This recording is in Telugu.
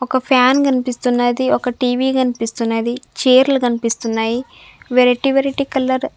ఒక ఫ్యాన్ కనిపిస్తున్నది ఒక టీ_వీ కనిపిస్తున్నది చేర్లు కనిపిస్తున్నాయి వెరైటీ వెరైటీ కలర్ .